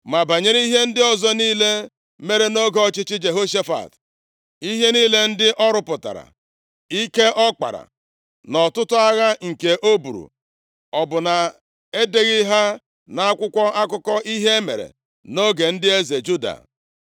Ma banyere ihe ndị ọzọ niile mere nʼoge ọchịchị Jehoshafat, ihe niile ndị ọ rụpụtara, ike ọ kpara nʼọtụtụ agha nke o buru, ọ bụ na e deghị ha nʼakwụkwọ akụkọ ihe mere nʼoge ndị eze Juda?